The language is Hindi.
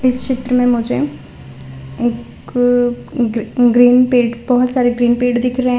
इस चित्र में मुझे एक ग्री ग्रीन पेड़ बहोत सारे ग्रीन पेड़ दिख रहे --